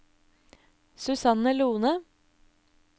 Susanne Lohne